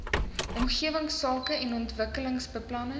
omgewingsake en ontwikkelingsbeplanning